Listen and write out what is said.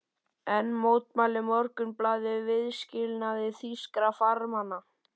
Enn mótmælti Morgunblaðið viðskilnaði þýskra farmanna.